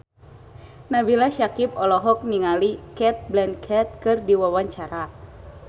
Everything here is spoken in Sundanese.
Nabila Syakieb olohok ningali Cate Blanchett keur diwawancara